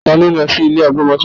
Ta ló lọ sí ilé agbọmọtọ́?